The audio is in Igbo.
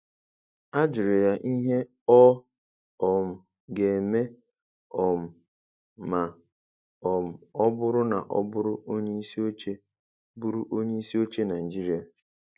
A jụrụ ya ihe ọ um ga-eme um ma um ọ bụrụ na ọ bụrụ onyeisi oche bụrụ onyeisi oche Naijiria.